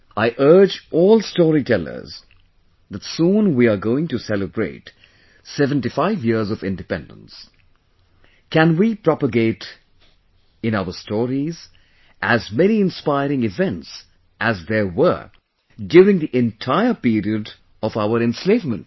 I urge all storytellers that soon we are going to celebrate 75 years of independence, can we propagate in our stories as many inspiring events as there were during the entire period of our enslavement